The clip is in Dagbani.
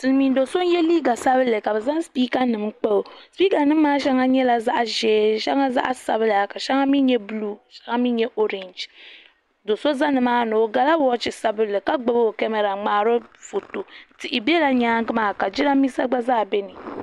Silmiin doo so n yɛ liiga sabinli ka bi zaŋ sipiika nim kpa o sipiika nim maa shɛŋa nyɛla zaɣa ʒee shɛŋa zaɣa sabila ka shɛŋa mi nyɛ buluu shɛŋa mi?nyɛ ɔrɛɛnji doo so za ni maa ni gala wɔchi sabinli ka gbubi o kamara n ŋmaari o foto tihi bɛla nyaanga maa ka jiranbiisa gba zaa bɛ ni.